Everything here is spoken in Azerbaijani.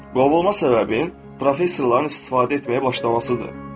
Qovulma səbəbin professorların istifadə etməyə başlamasıdır.